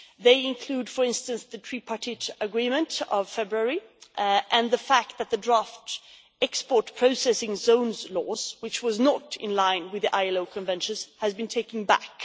They include, for instance, the Tripartite Agreement of February and the fact that the draft export processing zones law, which was not in line with the ILO Convention, has been taken back.